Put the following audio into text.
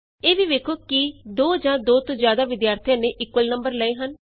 ਇਹ ਵੀ ਵੇਖੋ ਕਿ ਕੀ ਦੋ ਜਾਂ ਦੋ ਤੋਂ ਜਿਆਦਾ ਵਿਦਿਆਰਥੀਆਂ ਨੇ ਇਕੁਅਲ ਨੰਬਰ ਲਏ ਹਨ